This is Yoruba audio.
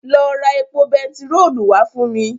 Lọ ra epo bentiróòlù wá fún mi.